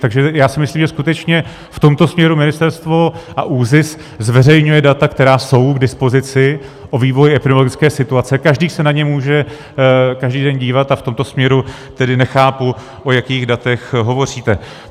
Takže já si myslím, že skutečně v tomto směru ministerstvo s ÚZIS zveřejňuje data, která jsou k dispozici, o vývoji epidemiologické situace, každý se na ně může každý den dívat, a v tomto směru tedy nechápu, o jakých datech hovoříte.